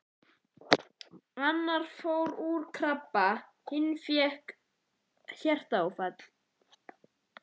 Annar fór úr krabba, hinn fékk hjartaáfall.